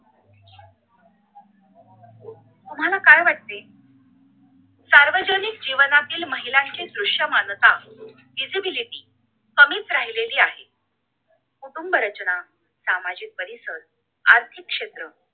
तुम्हाला काय वाटते सार्वजनिक जीवनातील महिलांची दृष मानता visiblity कमीच राहिलेली आहे कुटुंब रचना सामाजिक परिसर आर्थिक क्षेत्र